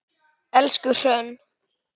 Elsku Hrönn.